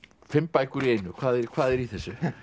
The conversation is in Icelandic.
fimm bækur í einu hvað er hvað er í þessu